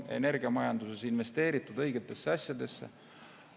Energiamajanduses on investeeritud õigetesse asjadesse.